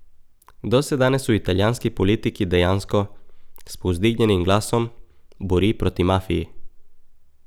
Kdo se danes v italijanski politiki dejansko, s povzdignjenim glasom, bori proti mafiji?